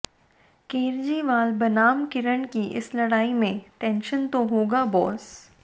केरजीवाल बनाम किरण की इस लड़ाई में टेंशन तो होगा बॉस